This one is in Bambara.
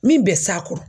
Min bɛ s'a kɔrɔ